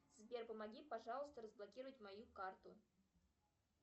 сбер помоги пожалуйста разблокировать мою карту